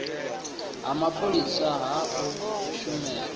ha mapholisa ha u shumela